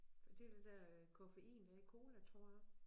Og det det der øh koffein der er i cola tror jeg